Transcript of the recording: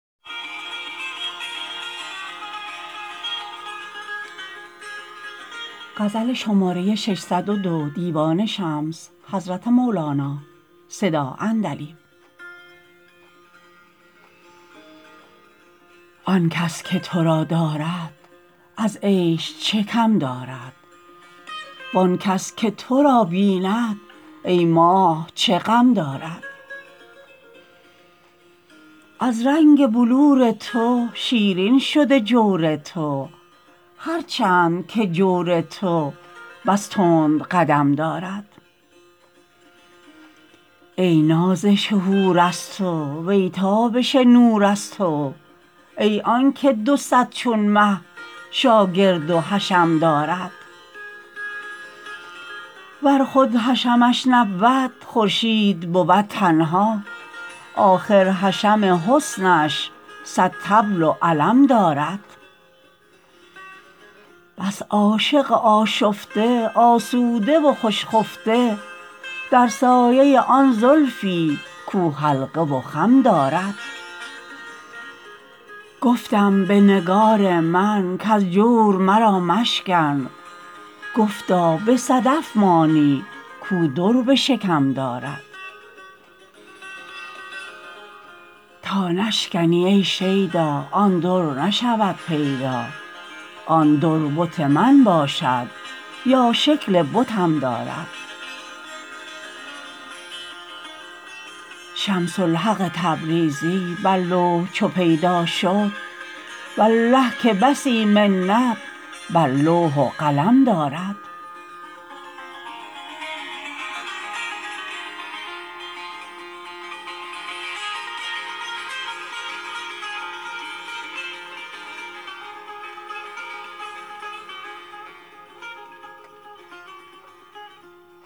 آن کس که تو را دارد از عیش چه کم دارد وان کس که تو را بیند ای ماه چه غم دارد از رنگ بلور تو شیرین شده جور تو هر چند که جور تو بس تند قدم دارد ای نازش حور از تو وی تابش نور از تو ای آنک دو صد چون مه شاگرد و حشم دارد ور خود حشمش نبود خورشید بود تنها آخر حشم حسنش صد طبل و علم دارد بس عاشق آشفته آسوده و خوش خفته در سایه آن زلفی کو حلقه و خم دارد گفتم به نگار من کز جور مرا مشکن گفتا به صدف مانی کو در به شکم دارد تا نشکنی ای شیدا آن در نشود پیدا آن در بت من باشد یا شکل بتم دارد شمس الحق تبریزی بر لوح چو پیدا شد والله که بسی منت بر لوح و قلم دارد